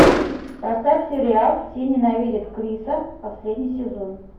поставь сериал все ненавидят криса последний сезон